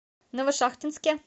новошахтинске